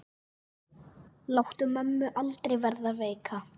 Láttu mömmu aldrei verða veika.